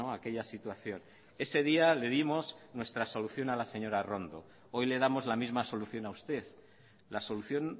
aquella situación ese día le dimos la solución a la señora arrondo hoy le damos la misma solución a usted la solución